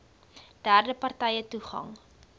derde partye toegang